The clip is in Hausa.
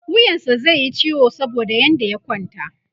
wuyansa zaiyi ciwo saboda yadda ya kwanta